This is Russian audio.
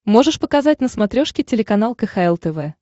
можешь показать на смотрешке телеканал кхл тв